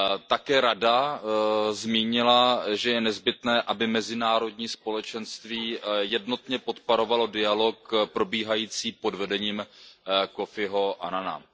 Také Rada zmínila, že je nezbytné, aby mezinárodní společenství jednotně podporovalo dialog probíhající pod vedením Kofiho Annana.